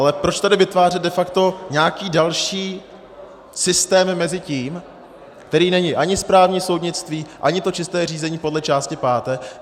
Ale proč tady vytvářet de facto nějaký další systém mezi tím, který není ani správní soudnictví, ani to čisté řízení podle části páté.